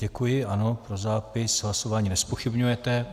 Děkuji, ano, pro zápis, hlasování nezpochybňujete.